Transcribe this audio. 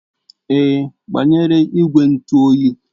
Èé, agbanyere igwe ntụ oyi.